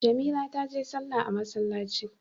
Jamila taje sallah a masallci.